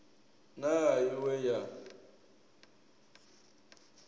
na i ṅ we ya